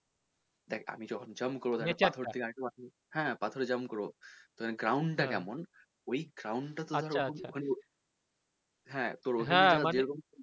দেখ আমি যখন jump করবো হ্যা পাথরে jump করবো তখন ground টা ওই ground টা তোর